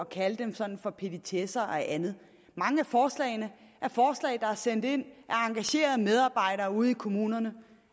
kalde dem sådan for petitesser og andet mange af forslagene er forslag der er sendt ind af engagerede medarbejdere ude i kommunerne